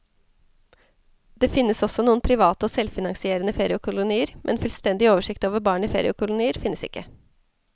Det finnes også noen private og selvfinansierende feriekolonier, men fullstendig oversikt over barn i feriekolonier finnes ikke.